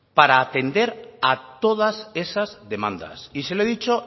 para atender a todas esas demandas y se lo he dicho